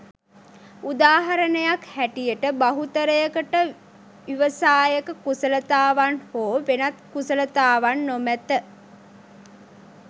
උදාහරණයක් හැටියට බහුතරයකට ව්‍යවසායක කුසලතාවන් හෝ වෙනත් කුසලතාවන් නොමැත